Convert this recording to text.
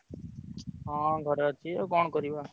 ହଁ ଘରେ ଅଛି ଆଉ କଣ କରିବା?